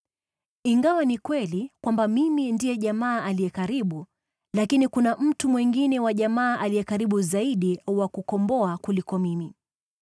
Ingawa ni kweli kwamba mimi ndiye jamaa aliye karibu, bado kuna mtu mwingine wa jamaa aliye karibu zaidi wa kukomboa kuliko mimi.